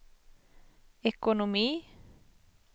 ekonomi